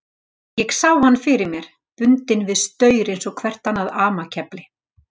Ég sá hann fyrir mér, bundinn við staur eins og hvert annað amakefli.